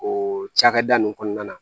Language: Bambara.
O cakɛda nunnu kɔnɔna na